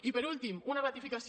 i per últim una ratificació